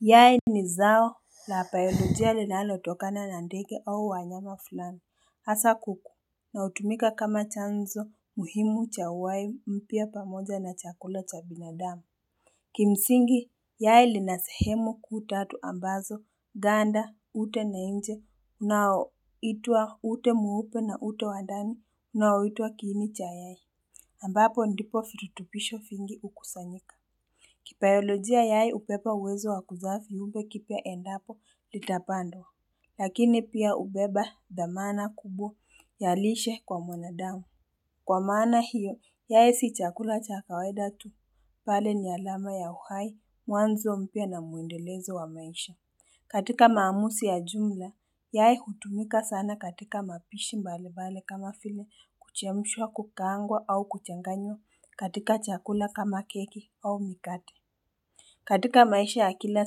Yai ni zao la biolojia linalo totokana na ndege au wanyama fulani hasa kuku na hutumika kama chanzo muhimu cha uhai mpya pamoja na chakula cha binadamu Kimsingi yai lina sehemu kuu tatu ambazo ganda ute na nje unaoitwa ute mweupe na ute wa ndani unaoitwa kiini cha yai ambapo ndipo virutubisho vingi hukusanyika kibiolojia yai ubeba uwezo wa kuzaa viumbe kipya endapo litapandwa Lakini pia hubeba dhamana kubwa ya lishe kwa mwanadamu Kwa maana hiyo yai si chakula cha kawaida tu mbali ni alama ya uhai mwanzo mpya na muendelezo wa maisha katika maamuzi ya jumla yai hutumika sana katika mapishi mbalibali kama vile kuchemshwa kukaangwa au kuchanganywa katika chakula kama keki au mikate katika maisha ya kila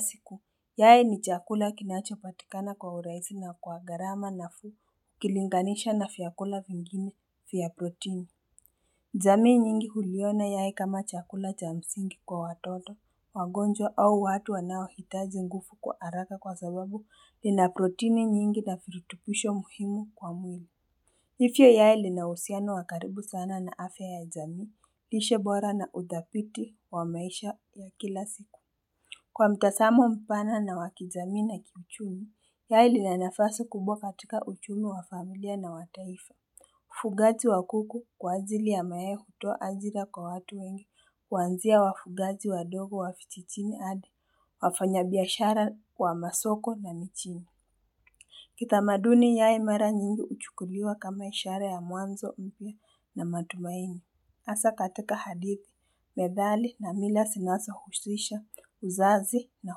siku yai ni chakula kinachopatikana kwa urahisi na kwa gharama nafuu ukilinganisha na vyakula vingine vya protini jamii nyingi huliona yai kama chakula cha msingi kwa watoto, wagonjwa au watu wanao hitaji nguvu kwa haraka kwa sababu lina protini mingi na virutubisho muhimu kwa mwili yai lina uhusiano wa karibu sana na afya ya jamii lishe bora na udhabiti wa maisha ya kila siku kwa mtazamo mpana wa kijamii na kiuchumi, yai lina nafasi kubwa katitka uchumi wa familia na wa taifa Ufungaji wa kuku kwa ajili ya mayai hutoa ajira kwa watu wengi kuanzia wafungaji wadogo wa vijijini hadi wafanya biashara wa masoko na mijini Kitamaduni yai mara nyingi huchukuliwa kama ishara ya mwanzo mpya na matumaini. Hasa katika hadithi, methali na mila zinazo husisha uzazi na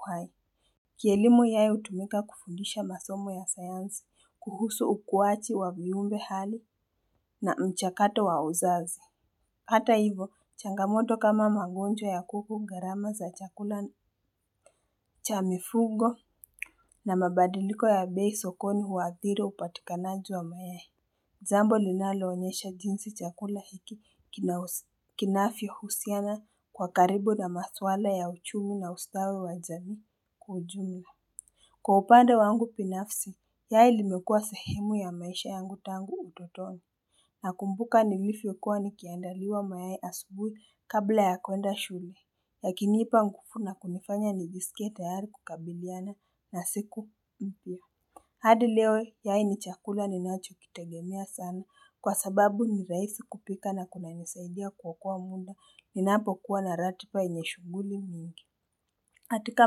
uhai Kielimu yai hutumika kufundisha masomo ya sayansi kuhusu ukuaji wa viumbe hali na mchakato wa uzazi. Hata hivo, changamoto kama magonjwa ya kuku gharama za chakula cha mifugo na mabadiliko ya bei sokoni huadhiri upatikanaji wa mayai. Jambo linalo onyesha jinsi chakula hiki kinavyo husiana kwa karibu na maswala ya uchumi na ustawi wa jamii kwa ujumla Kwa upande wangu binafsi, yai limekua sehemu ya maisha yangu tangu utotoni. Nakumbuka nilivyokuwa ni kiandaliwa mayai asubuhi kabla ya kuenda shule. Yakinipa nguvu na kunifanya nijisikie tayari kukabiliana na siku mpya. Hadi leo yai ni chakula ninacho kitegemea sana kwa sababu nirahisi kupika na kuna nisaidia kuokoa muda ninapo kuwa na ratiba yenye shughuli mingi. Katika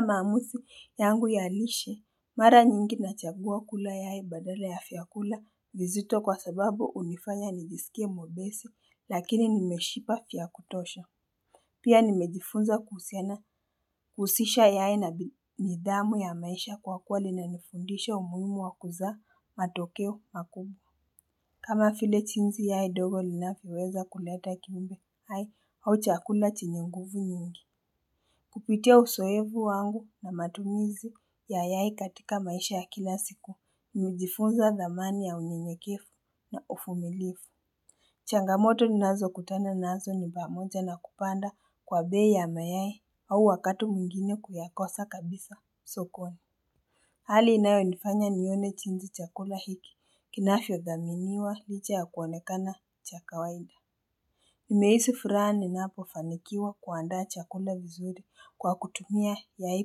maamuzi yangu ya lishe, mara nyingi nachagua kula yai badala ya vyakula vizito kwa sababu hunifanya nijiskie mwepesi lakini nimeshiba vya kutosha Pia nimejifunza kuhusiana kuhusisha yai na nidhamu ya maisha kwa kuwa lina nifundisha umuhimu wakuzaa matokeo makubwa. Kama vile jinsi yai ndogo linavyoweza kuleta kiumbe hai au chakula chenye nguvu nyingi. Kupitia uzoevu wangu na matumizi ya yai katika maisha ya kila siku nilijifunza dhamani ya unyenyekevu na uvumilivu Changamoto ninazo kutana nazo nipamoja na kupanda kwa bei ya mayai au wakati mwingine kuyakosa kabisa sokoni Hali inayonifanya nione jinsi chakula hiki kinavyo dhaminiwa licha ya kuonekana cha kawaida nimehisi furaha ninapo fanikiwa kuandaa chakula vizuri kwa kutumia yai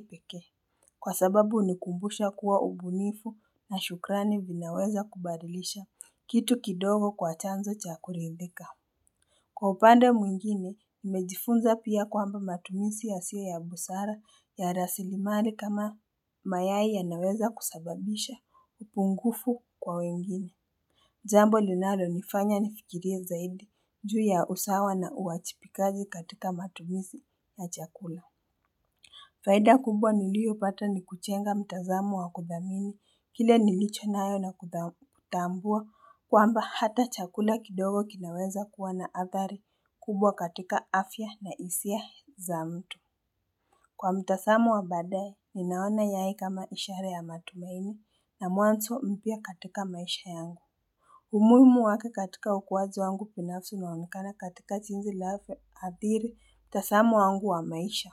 pekee Kwa sababu hunikumbusha kuwa ubunifu na shukrani vinaweza kubadilisha kitu kidogo kwa chanzo cha kuridhika Kwa upande mwingine, nimejifunza pia kwamba matumizi yasio ya busara ya rasilimali kama mayai yanaweza kusababisha upungufu kwa wengine. Jambo linalo nifanya nifikirie zaidi juu ya usawa na uajibikaji katika matumizi ya chakula. Faida kubwa niliyopata ni kujenga mtazamo wa kudhamini kile nilicho nayo na kutambua kwamba hata chakula kidogo kinaweza kuwa na athari kubwa katika afya ya hisia za mtu. Kwa mtazamo wa baadaye, ninaona yai kama ishara ya matumaini na mwanzo mpya katika maisha yangu. Umuhimu wake katika ukuaji wangu binafsi unaonekana katika jinsi linapoadhiri mtazamo wangu wa maisha.